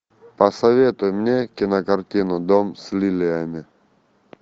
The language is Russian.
посоветуй мне кинокартину дом с лилиями